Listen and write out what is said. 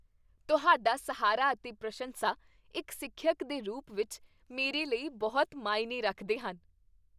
ਤੁਹਾਡਾ ਸਹਾਰਾ ਅਤੇ ਪ੍ਰਸ਼ੰਸਾ ਇੱਕ ਸਿੱਖਿਅਕ ਦੇ ਰੂਪ ਵਿੱਚ ਮੇਰੇ ਲਈ ਬਹੁਤ ਮਾਇਨੇ ਰੱਖਦੇ ਹਨ।